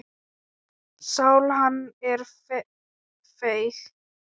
Sál hans er feig.